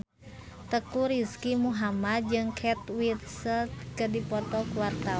Teuku Rizky Muhammad jeung Kate Winslet keur dipoto ku wartawan